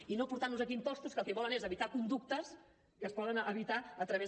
i no portar nos aquí impostos que el que volen és evitar conductes que es poden evitar a través